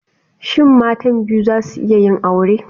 Shin matan biyu za su iya yin aure?